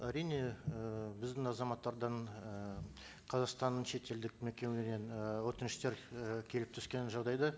әрине і біздің азаматтардан і қазақстанның шетелдік мекемеден і өтініштер і келіп түскен жағдайда